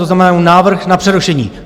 To znamená, návrh na přerušení.